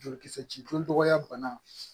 Jolikisɛ joli dɔgɔya banna